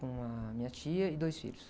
com a minha tia e dois filhos.